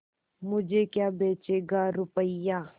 मुझे क्या बेचेगा रुपय्या